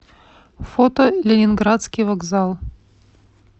фото ленинградский вокзал